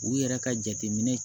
U yɛrɛ ka jateminɛ